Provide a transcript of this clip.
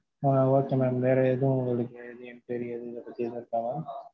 ஆஹ் okay mam வேற எதும் உங்களுக்கு any enquiry எதுவும் இத பத்தி இருக்கா mam?